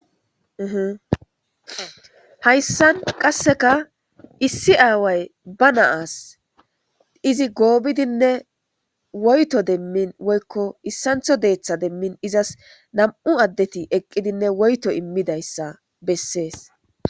Ihihayssan qasseka issi aaway ba naas izi goobidinne woyto demmin woykko issantho deeththa demmin izas nam'u addeti eqqidinne woyto immidayssa bessees